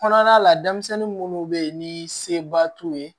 Kɔnɔna la denmisɛnnin munnu be yen ni seba t'u ye